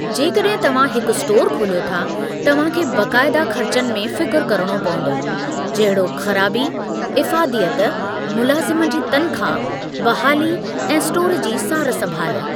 जेकॾहिं तव्हां हिकु स्टोर खोलियो था, तव्हां खे बाक़ायदा ख़र्चनि में फ़िकुर करिणो पंवदो जहिड़ोकि खराबी, इफ़ादीयत, मुलाज़िम जी तनख़्वाह, बहाली, ऐं स्टोर जी सारु संभाल।